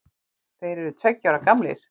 Þeir eru tveggja ára gamlir